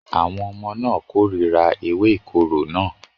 Àwọn ọmọ náà kórìíra ewé ìkorò náà